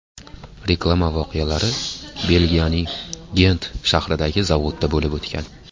Reklama voqealari Belgiyaning Gent shahridagi zavodda bo‘lib o‘tgan.